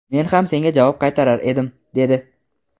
men ham senga javob qaytarar edim, dedi.